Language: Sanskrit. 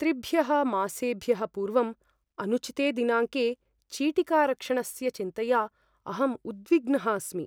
त्रिभ्यः मासेभ्यः पूर्वम् अनुचिते दिनाङ्के चीटिकारक्षणस्य चिन्तया अहम् उद्विग्नः अस्मि।